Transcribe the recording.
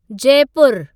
Jaipur